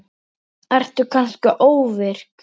Ertu kannski ofvirk?